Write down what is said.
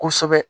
Kosɛbɛ